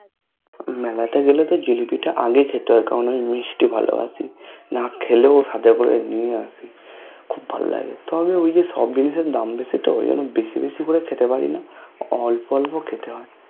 মেলাতে গেলেতো জিলাবি টা আগে খেতে হয় কারণ আমি মিষ্টি ভালোবাসি নাখেলেও হাতে করে নিয়ে আসি খুব ভালো লাগে তবে ঐযে সব জিনিসএর দাম বেশি তো ঐজন্ন বেশি বেশি করে খেতে পারিনা অল্প অল্প খেতে হয়